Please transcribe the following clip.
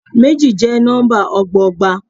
Méjì jẹ́ nọ́ḿbà ọgbọọgba.